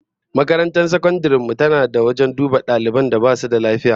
Makarantar sakandaren mu tana da wajen duba daliban da basu da lafiya